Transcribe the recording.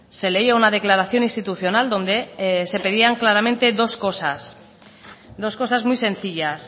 se leía una declaración institucional donde se pedían claramente dos cosas dos cosas muy sencillas